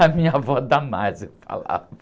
A minha avó, é que ela falava.